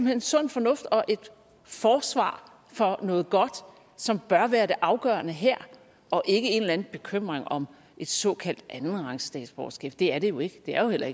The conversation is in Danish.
er sund fornuft og et forsvar for noget godt som bør være det afgørende her og ikke en eller anden bekymring om et såkaldt andenrangsstatsborgerskab for det er det jo ikke det er jo heller